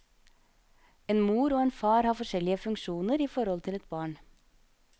En mor og en far har forskjellige funksjoner i forhold til et barn.